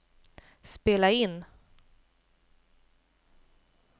spela in